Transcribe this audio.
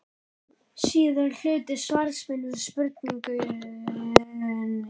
Síðari hluti svars míns við spurningunni að framan hljóðar svo